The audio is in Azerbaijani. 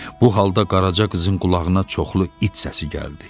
Bu halda Qaraca qızın qulağına çoxlu it səsi gəldi.